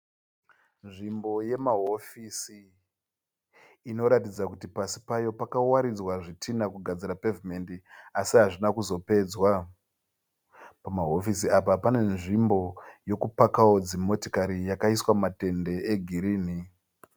Nzvimbo yema hofisi inoratidza pasi payo pakawaridzwa zvitinha kugadzira pevhimendi asi hazvina kuzopedzwa. Pamahofisi apa pane nzvimbo yekupakao dzimotokari yakaiswa matende e girini.